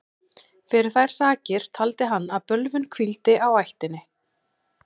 Fyrir þær sakir taldi hann að bölvun hvíldi á ættinni.